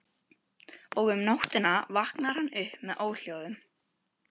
Og um nóttina vaknar hann upp með óhljóðum.